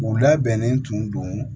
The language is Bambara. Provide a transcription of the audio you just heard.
U labɛnnen tun don